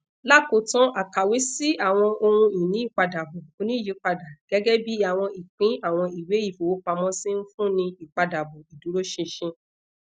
lakotan akawe si awọn ohunini ipadabọ oniyipada gẹgẹbi awọn ipin awọn iwe ifowopamosi nfunni ipadabọ iduroṣinṣin